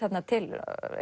til